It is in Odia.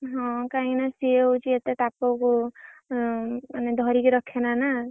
ହଁ କାଇଁ ନା ସିଏ ହଉଛି ଏତେ ତାପକୁ ଆଁ ମାନେ ଧରିକୀ ରଖେନା ନା।